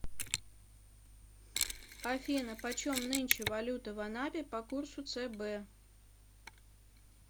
афина почем нынче валюта в анапе по курсу цб